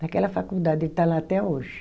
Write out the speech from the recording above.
Naquela faculdade, ele está lá até hoje.